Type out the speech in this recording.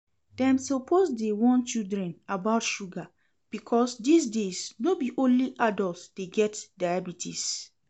Dem suppose dey warn children about sugar because dis days no be only adult dey get diabetes